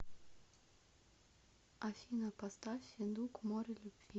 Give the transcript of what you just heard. афина поставь федук море любви